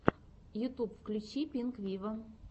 ютюб включи пинк виво